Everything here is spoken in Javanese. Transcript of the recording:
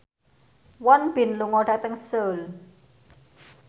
Won Bin lunga dhateng Seoul